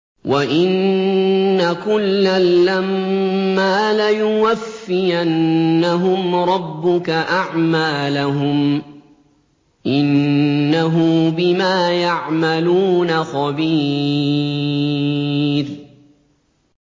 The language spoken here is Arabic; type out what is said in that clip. وَإِنَّ كُلًّا لَّمَّا لَيُوَفِّيَنَّهُمْ رَبُّكَ أَعْمَالَهُمْ ۚ إِنَّهُ بِمَا يَعْمَلُونَ خَبِيرٌ